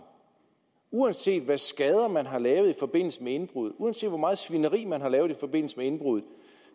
uanset hvad skader man har lavet i forbindelse med indbruddet uanset hvor meget svineri man har lavet i forbindelse med indbruddet